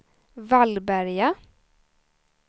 Vallberga